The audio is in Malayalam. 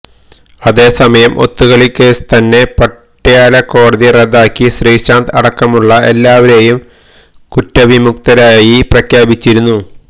അതേസമയം ഒത്തുകളിക്കേസ് തന്നെ പട്യാലക്കോടതി റദ്ദാക്കി ശ്രീശാന്ത് അടക്കമുളള എല്ലാവരേയും കുറ്റവിമുക്തരായി പ്രഖ്യാപിച്ചിരുന്നു